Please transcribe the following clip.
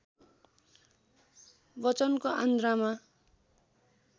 बच्चनको आन्द्रामा